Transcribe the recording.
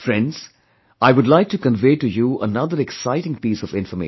Friends, I would like to convey to you another exciting piece of information